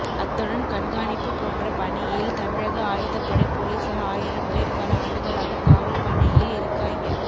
அத்துடன் கண்காணிப்பு போன்ற பணியில் தமிழக ஆயுதப்படை போலீசார் ஆயிரம் பேர் பல ஆண்டுகளாக காவல் பணியில் இருக்காய்ங்க